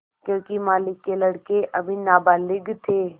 योंकि मालिक के लड़के अभी नाबालिग थे